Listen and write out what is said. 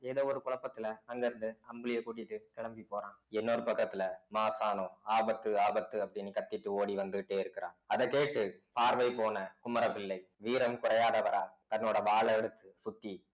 ஏதோ ஒரு குழப்பத்துல அங்க இருந்து அம்புலிய கூட்டிட்டு கிளம்பி போறான் இன்னொரு பக்கத்துல மாசாணம் ஆபத்து ஆபத்து அப்படின்னு கத்தீட்டு ஓடி வந்துட்டே இருக்கிறான் அதக் கேட்டு பார்வை போன குமரபிள்ளை வீரம் குறையாதவரா தன்னோட வாளை எடுத்து சுத்தி